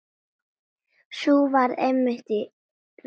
Sú varð einmitt raunin.